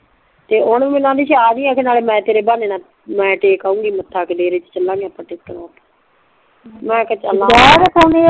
ਤੇ ਓ ਨਾ ਮੈਂਨੂੰ ਅਨਦੀ ਸੀ ਆਜੀ ਨਾਲੇ ਮੈਂ ਤੇਰੇ ਬਹਾਨੇ ਨਾਲ ਮੈਂ ਟੇਕ ਆਉਨਗੀ ਮੱਥਾ ਡੇਰੇ ਚ ਚਲਾਂਗੇ ਆਪਾਂ ਮੈਂ ਕਿਹਾ ਚੱਲ